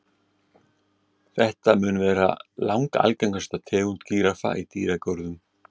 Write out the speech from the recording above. Þetta mun vera langalgengasta tegund gíraffa í dýragörðum.